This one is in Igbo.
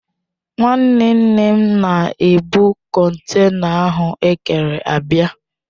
Nwanne Nne m na-ebụ kọntena ahụ ekere abịa.